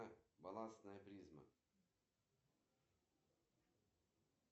афина робот почему в моем мобильном банке отрицательный баланс